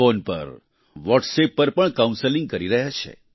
phone પર WhatsApp પર પણ કાઉન્સેલિંગ કરી રહ્યા છે